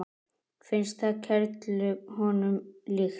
Finnst það kerlu honum líkt.